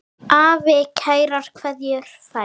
Afi kærar kveðjur fær.